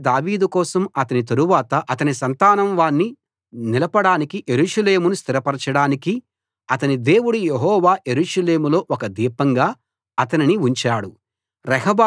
అందుకే దావీదు కోసం అతని తరువాత అతని సంతానం వాణ్ణి నిలపడానికీ యెరూషలేమును స్థిరపరచడానికీ అతని దేవుడు యెహోవా యెరూషలేములో ఒక దీపంగా అతనిని ఉంచాడు